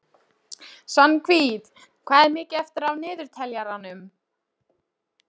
Svanhvít, hvað er mikið eftir af niðurteljaranum?